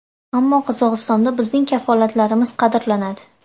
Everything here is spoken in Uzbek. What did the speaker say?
Ammo Qozog‘istonda bizning kafolatlarimiz qadrlanadi.